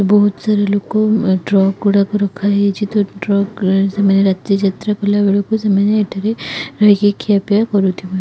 ବହୁତ ସାରା ଲୋକ ଟ୍ରକ ଗୁଡାକ ରଖାହେଇଛି ତ ଟ୍ରକ ରେ ସେମାନେ ରାତିରେ ଯାତ୍ରା କଲାବେଳକୁ ସେମାନେ ଏଠାରେ ରହିକି ଖିଅପିଆ କରୁଥିବେ ।